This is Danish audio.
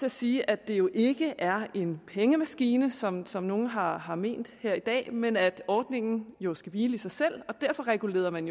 at sige at det jo ikke er en pengemaskine som som nogle har har ment her i dag men at ordningen jo skal hvile i sig selv og derfor regulerede man